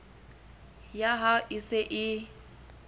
ya hao e se e